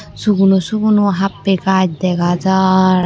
suguno suguno happe gaas dega jar.